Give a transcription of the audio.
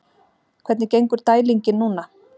Hvernig gengur dælingin núna?